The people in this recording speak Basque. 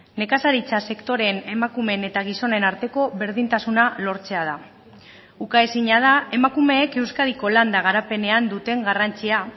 nekazaritza sektoreen emakumeen eta gizonen arteko berdintasuna lortzea da ukaezina da emakumeek euskadiko landa garapenean duten garrantzia